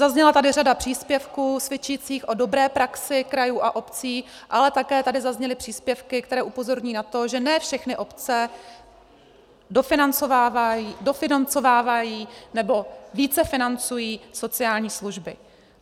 Zazněla tady řada příspěvků svědčících o dobré praxi krajů a obcí, ale také tady zazněly příspěvky, které upozorňují na to, že ne všechny obce dofinancovávají, nebo více financují sociální služby.